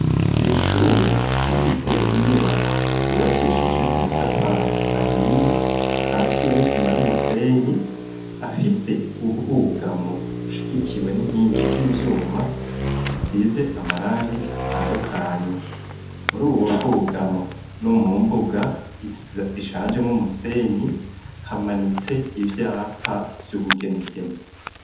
Kw'ishure rifise inyubako zubakishije amatafari ahiye akatiye n'isima n'umusenyi afise ubwugamo bushigikiwe n'inkingi z'ivyuma, zisize amarangi atandukanye. Muri ubu bwugamo no mu mbuga ishanjemwo umusenyi, hamanitse ivyapa vy'ubugenegene.